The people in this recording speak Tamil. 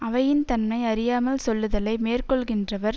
அவையின் தன்மை அறியாமல் சொல்லுதலை மேற்கொள்கின்றவர